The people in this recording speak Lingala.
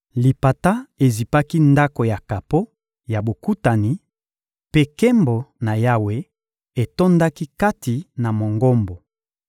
Lipata ezipaki Ndako ya kapo ya Bokutani mpe nkembo na Yawe etondaki kati na Mongombo.